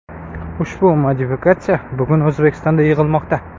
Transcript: Ushbu modifikatsiya bugun O‘zbekistonda yig‘ilmoqda.